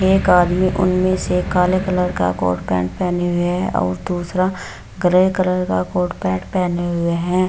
एक आदमी उनमे से काले कलर का कोट पैंट पहने हुए है और दूसरा ग्रे कलर का कोट पैंट पहने हुए है।